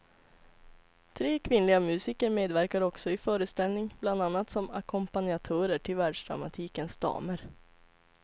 Tre kvinnliga musiker medverkar också i föreställning bland annat som ackompanjatörer till världsdramatikens damer.